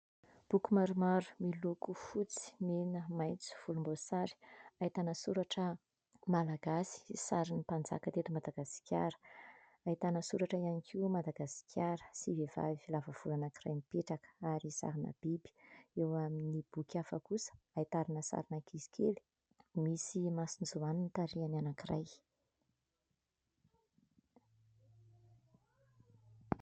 Boky maromaro miloko fotsy, mena, maitso, volomboasary. Ahitana soratra malagasy, sarin'ny mpanjaka teto Madagasikara. Ahitana soratra ihany koa Madagasikara sy vehivavy lava volo anankiray mipetraka ary sarina biby. Eo amin'ny boky hafa kosa, ahitana sarina ankizy kely, misy masonjoany ny tarehiny anankiray.